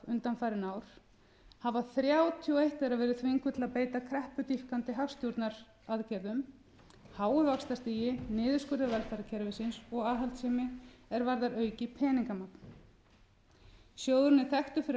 undanfarin ár hafa þrjátíu og eitt þeirra verið þvingað til að beita kreppudýpkandi hagstjórnaraðgerðum háu vaxtastigi niðurskurði velferðarkerfisins og aðhaldssemi er varðar aukið peningamagn sjóðurinn er þekktur fyrir að